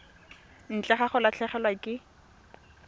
ntle ga go latlhegelwa ke